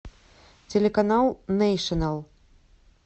телеканал нейшнл